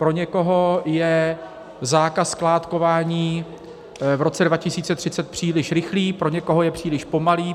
Pro někoho je zákaz skládkování v roce 2030 příliš rychlý, pro někoho je příliš pomalý.